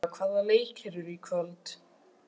Marsilía, hvaða leikir eru í kvöld?